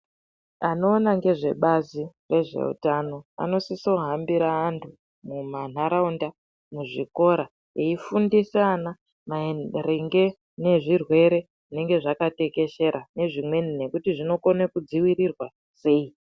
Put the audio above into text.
Anoona ngezvebazi rezveutano anosisohambira antu mumanharaunda, muzvikora eifundisa ana maringe nezvirwere zvinenge zvakatekeshera nezvimweni nekuti zvinokone kudziwirirwa sei.